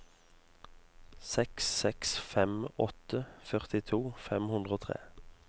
seks seks fem åtte førtito fem hundre og tre